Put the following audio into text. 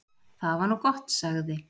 """Það var nú gott, sagði"""